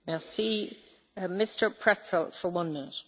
Frau Präsidentin, meine sehr geehrten Damen und Herren!